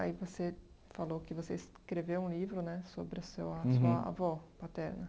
Aí você falou que você escreveu um livro né sobre o seu a sua avó paterna.